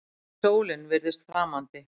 Jafnvel sólin virðist framandi.